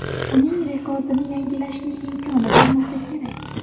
Uning rekordini yangilashning imkoni bo‘lmasa kerak.